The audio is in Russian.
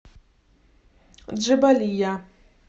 джебалия